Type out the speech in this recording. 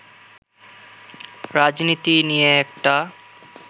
রাজনীতি নিয়ে একটা